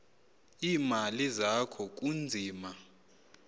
iimali zakho kunzima